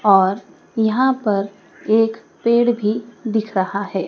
और यहां पर एक पेड़ भी दिख रहा है।